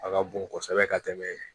A ka bon kosɛbɛ ka tɛmɛ